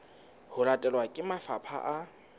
ho latelwa ke mafapha a